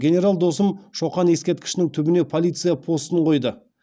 генерал досым шоқан ескеркішінің түбіне полиция постын қойды